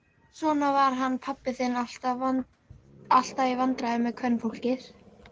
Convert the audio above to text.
Svona var hann pabbi þinn, alltaf í vandræðum með kvenfólkið.